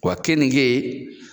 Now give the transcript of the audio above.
'Wa kɛnige